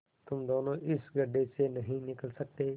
तुम दोनों इस गढ्ढे से नहीं निकल सकते